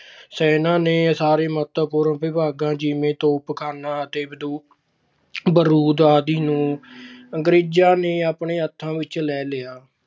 ਸੈਨਾ ਦੇ ਸਾਰੇ ਮਹੱਤਵਪੂਰਨ ਵਿਭਾਗਾਂ ਜਿਵੇਂ ਤੋਪਖਾਨਾ ਅਤੇ ਬਾਰੂਦ ਆਦਿ ਨੂੰ ਅੰਗਰੇਜਾਂ ਨੇ ਆਪਣੇ ਹੱਥਾਂ ਵਿੱਚ ਲੈ ਲਿਆ।